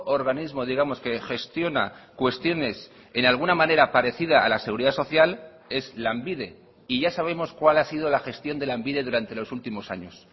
organismo digamos que gestiona cuestiones en alguna manera parecida a la seguridad social es lanbide y ya sabemos cuál ha sido la gestión de lanbide durante los últimos años